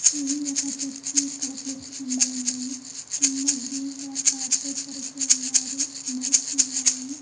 ఇది ఒక చర్చి. ఇక్కడ ప్లస్ సింబల్ ఉన్నది. కింద గ్రీన్ కలర్ కార్పెట్ పరిచి ఉన్నారు. మైక్స్ ఉన్నాయి.